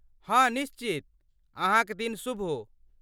हाँ निश्चित, अहाँ क दिन शुभ हो ।